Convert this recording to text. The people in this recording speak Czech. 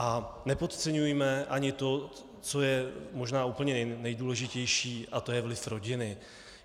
A nepodceňujme ani to, co je možná úplně nejdůležitější, a to je vliv rodiny.